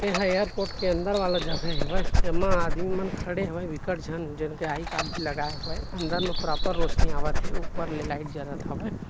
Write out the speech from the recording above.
एहा एयरपोर्ट के अंदर वाला जगह हेवय एमा आदमी मन खड़े हवय बिक्कट झन जिनके आई कार्ड भी लगाए हवय अंदर म प्रॉपर रौशनी आवत हे ऊपर ले लाइट जलत हवय।